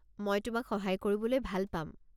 মই তোমাক সহায় কৰিবলৈ ভাল পাম।